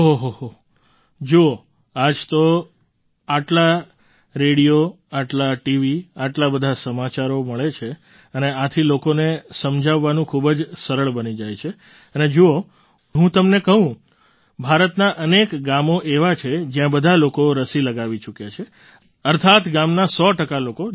ઓહોહોજુઓ આજ તો આટલા રેડિયો આટલાં ટીવી આટલા બધા સમાચારો મળે છે અને આથી લોકોને સમજાવવાનું ખૂબ જ સરળ બની જાય છે અને જુઓ હું તમને કહું ભારતનાં અનેક ગામો એવાં છે જ્યાં બધા લોકો રસી લગાવી ચૂક્યા છે અર્થાત્ ગામના સો ટકા લોકો